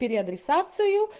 переадресацию